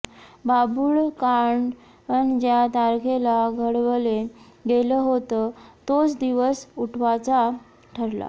बाभूळकांड ज्या तारखेला घडवलं गेलं होतं तोच दिवस उठावाचा ठरला